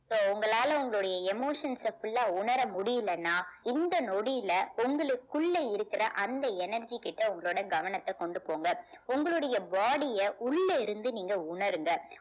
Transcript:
so உங்களால உங்களுடைய emotions அ full ஆ உணர முடியலைன்னா இந்த நொடியில உங்களுக்குள்ள இருக்கிற அந்த energy கிட்ட உங்களோட கவனத்த கொண்டு போங்க உங்களுடைய body அ உள்ள இருந்து நீங்க உணருங்க